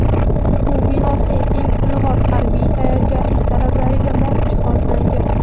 O‘quv binosi eng ilg‘or harbiy tayyorgarlik talablariga mos jihozlangan.